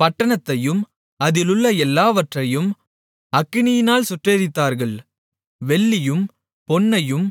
பட்டணத்தையும் அதிலுள்ள எல்லாவற்றையும் அக்கினியால் சுட்டெரித்தார்கள் வெள்ளியையும் பொன்னையும்